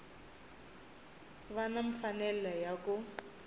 va na mfanelo ya ku